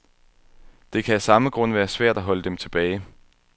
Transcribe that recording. Det kan af samme grund være svært at holde dem tilbage.